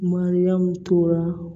Mariyamu tora